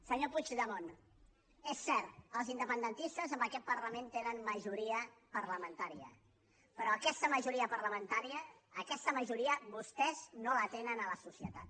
senyor puigdemont és cert els independentistes en aquest parlament tenen majoria parlamentària però aquesta majoria parlamentària aquesta majoria vostès no la tenen a la societat